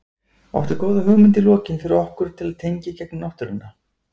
Áttu góða hugmynd í lokin fyrir okkur til að tengja í gegnum náttúruna?